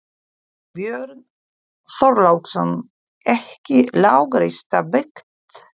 Björn Þorláksson: Ekki lágreista byggð?